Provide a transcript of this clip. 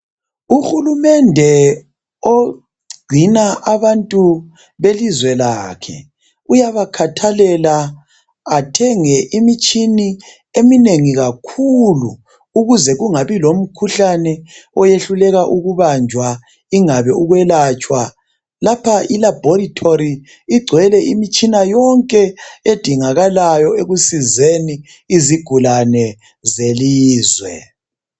Uhulumende ogcina abantu belizwe lakhe uyaba khathalela athenge imitshina eminengi kakhulu ukuze kungabi lomkhuhlane oyehlulekwa ukubanjwa lapha i laboratory igcwele imitshina yonke edingakalayo ekusizeni isigulane zelizwe